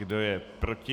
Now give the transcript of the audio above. Kdo je proti?